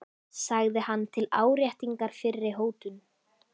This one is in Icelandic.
sagði hann til áréttingar fyrri hótun.